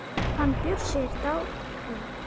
Hann Bjössi er dáinn.